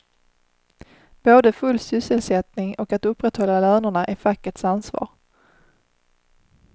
Både full sysselsättning och att upprätthålla lönerna är fackets ansvar.